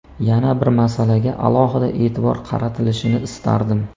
Yana bir masalaga alohida e’tibor qaratilishini istardim.